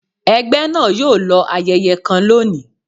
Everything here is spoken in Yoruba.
ẹgbẹ náà yoo lọ ayẹyẹ kan lóni